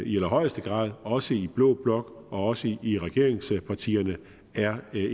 i allerhøjeste grad også i blå blok og også i regeringspartierne er